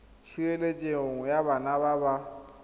tshireletso ya bana ba ba